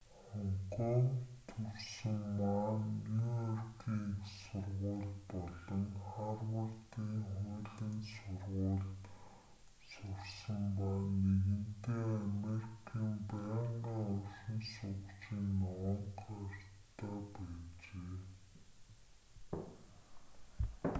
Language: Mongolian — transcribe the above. хонконгт төрсөн ма нь нью-йоркийн их сургууль болон харвардын хуулийн сургуульд сурсан ба нэгэнтээ америкийн байнгын оршин суугчийн ногоон карт"-тай байжээ